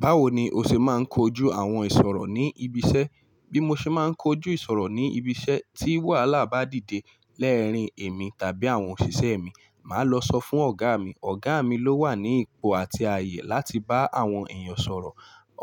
Báwo ni o ṣe máa ń kojú àwọn ìṣòro ní ibi iṣẹ́? Bí mo ṣe má ń kojú ìṣòro ní ibi iṣẹ́ tí wàhálà bá dìde lẹ́ẹ́rín mi tàbí àwọn òṣìṣẹ́ mi, màá lọ sọ fún ọ̀gá mi. Ọ̀gá mi ló wà ní ipò àti ayé láti bá àwọn èèyàn sọ̀rọ̀.